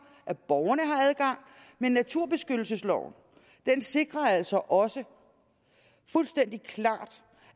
at borgerne har adgang men naturbeskyttelsesloven sikrer altså også fuldstændig klart